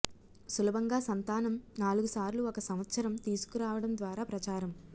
సులభంగా సంతానం నాలుగు సార్లు ఒక సంవత్సరం తీసుకురావడం ద్వారా ప్రచారం